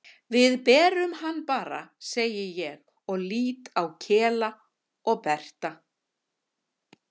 Við berum hann bara, segi ég og lít á Kela og Berta.